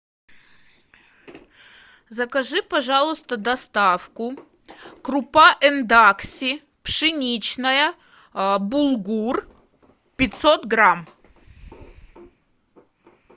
закажи пожалуйста доставку крупа эндакси пшеничная булгур пятьсот грамм